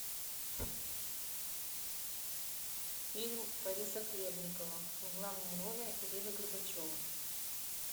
фильм бориса хлебникова в главной роли ирина горбачева